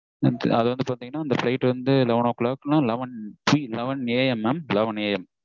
அதாவது பாத்தீங்கனா இந்த flight வந்து eleven o'clock நா eleven AM mam eleven AM